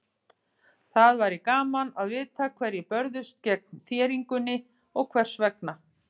Það væri gaman að vita hverjir börðust gegn þéringunni og hvers vegna.